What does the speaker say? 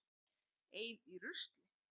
Ein í rusli.